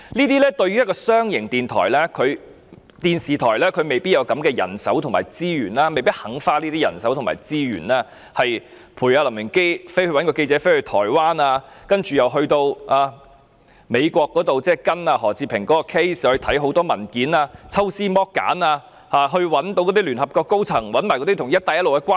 對於一間商營電視台，它未必有這些人手及資源，也未必願意花這些人手及資源，派出一位記者跟隨林榮基到台灣，又或派人到美國跟進何志平的案件，查看大量文件，抽絲剝繭，並找聯合國高層及找出與"一帶一路"的關係。